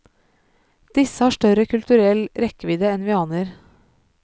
Disse har større kulturell rekkevidde enn vi aner.